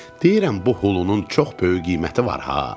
Deyirəm bu hulunun çox böyük qiyməti var ha.